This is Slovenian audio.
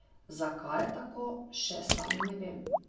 Zakaj je tako, še sam ne vem.